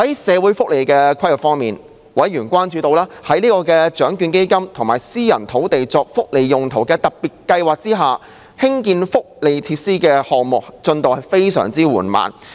社會福利規劃方面，委員關注到，在獎券基金及私人土地作福利用途特別計劃下，興建福利設施的項目進度非常緩慢。